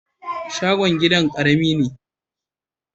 Shogon gidan ƙarami ne.